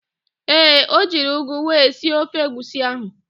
Ee, o jiri ụgụ wee sie ofe egwusi ahụ.